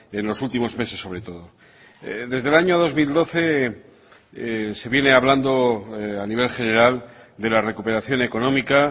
en los últimos meses sobre todo desde el año dos mil doce se viene hablando a nivel general de la recuperación económica